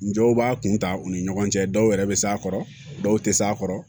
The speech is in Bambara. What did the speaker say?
N dɔw b'a kunta u ni ɲɔgɔn cɛ dɔw yɛrɛ bɛ s'a kɔrɔ dɔw tɛ s'a kɔrɔ